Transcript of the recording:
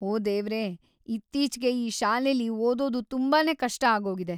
ಓ ದೇವ್ರೇ, ಇತ್ತೀಚ್ಗೆ ಈ ಶಾಲೇಲಿ ಓದೋದು ತುಂಬಾನೇ ಕಷ್ಟ ಆಗೋಗಿದೆ.